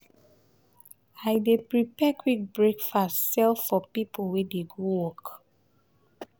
i dey prepare quick breakfast sell for pipo wey dey go work.